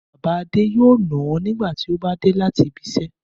Bàbá Adé yóò nà á nígbà tí ó bá dé láti ibiṣẹ́.